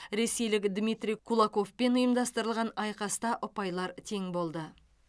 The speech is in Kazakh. ресейлік дмитрий кулоковпен ұйымдастырылған айқаста ұпайлар тең болды